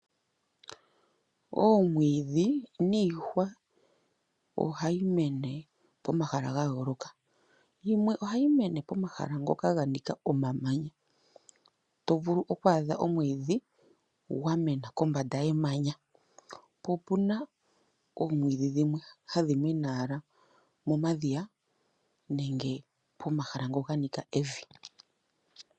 Omwiidhi niihwa ohayi mene pomahala ga yooloka, yimwe ohayi mene pomahala ngoka ga nika omamanya, to vulu oku adha omwiidhi gwa mena kombanda yemanya, ko okuna omwiidhi dhimwe hadhi mene owala momadhiya nenge pomahala ngo ga nika evi.